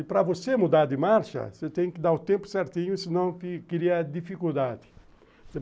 E para você mudar de marcha, você tem que dar o tempo certinho, senão cria dificuldade.